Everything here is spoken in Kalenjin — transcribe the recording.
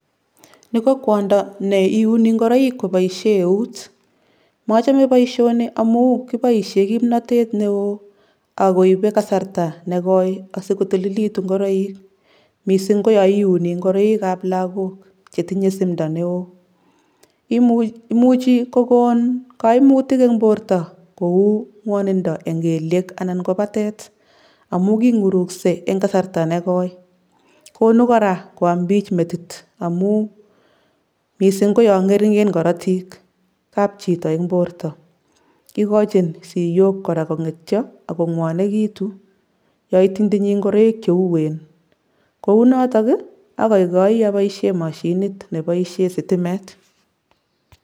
Ni ko kwondo ne iuni ngoroik koboisie eut, mochomo boisioni amu kiboisie kimnotet ne oo ak koibe kasarta ne koi asi kotililitu ngoroik, mising ko yo iuni ngoroikab lagok che tinye simdo ne oo. Imuchi kokon kaimutik eng borto kou ngwanindo eng kelyek anan ko batet amu ki ngurukse eng kasarta ne koi, konu kora kwam piich metit amu mising ko yo ngeringen korotikab chito eng borto, ikochin siyok kora kongetyo ak kongwanekitu yo itinytinyi ngoroik che uen, kounotok ii akaikai aboisie mashinit ne boisie sitimet.